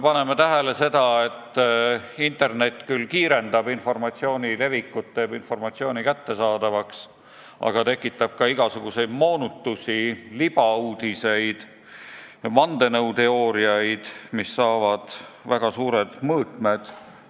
Me näeme, et internet küll kiirendab informatsiooni levikut, teeb informatsiooni kättesaadavaks, aga tekitab ka igasuguseid moonutusi, libauudiseid ja vandenõuteooriaid, mis omandavad väga suured mõõtmed.